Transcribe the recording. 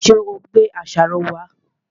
Ṣé ò gbé àṣàrò wá?